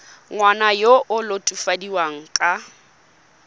ngwana yo o latofadiwang ka